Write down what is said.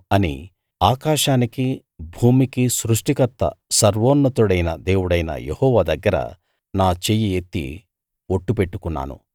ఆకాశానికి భూమికి సృష్టికర్త సర్వోన్నతుడైన దేవుడైన యెహోవా దగ్గర నా చెయ్యి ఎత్తి ఒట్టు పెట్టుకున్నాను